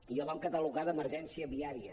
i el vam catalogar d’emergència viària